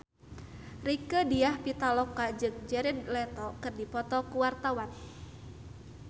Rieke Diah Pitaloka jeung Jared Leto keur dipoto ku wartawan